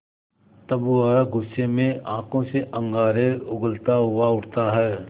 तब वह गुस्से में आँखों से अंगारे उगलता हुआ उठता है